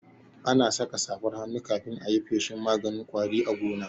Ana saka safar hannu kafin ayi feshin maganin ƙwari a gona